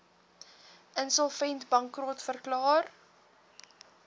insolvent bankrot verklaar